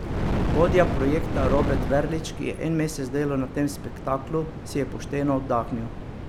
Vodja projekta Robert Verlič, ki je en mesec delal na tem spektaklu, si je pošteno oddahnil.